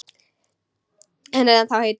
Hann er ennþá heitur.